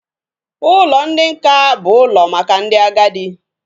Ụlọ ndị nká bụ ụlọ maka ndị agadi